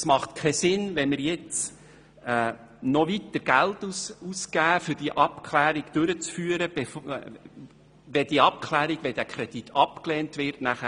Es macht keinen Sinn, weitere Gelder auszugeben, um eine Abklärung durchzuführen, welche obsolet und überflüssig wäre, sollte der Kredit abgelehnt werden.